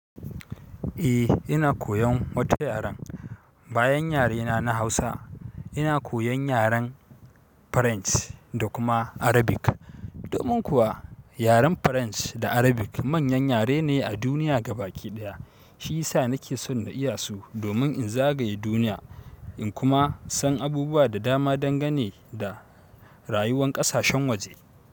Eh ina koyan wata yaren, bayan yarena na Hausa ina koyan yaren French da kuma Arabic. Domin kuwa yaren french da Arabic man yan yare ne a duniya gabaki daya. Shiyasa nake san na iyasu domin inzagaye duniya inkuma san abubuwa da dama dan gane da rayuwan kasashen waje.